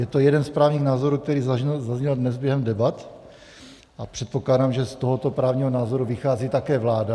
Je to jeden z právních názorů, který zazněl dnes během debat, a předpokládám, že z tohoto právního názoru vychází také vláda.